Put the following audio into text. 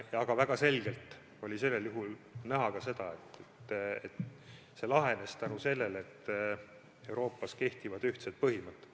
Aga väga selgelt oli näha ka seda, et see lahenes tänu sellele, et Euroopas kehtivad ühtsed põhimõtted.